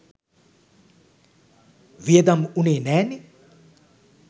වියදම් උනේ නෑ නෙ.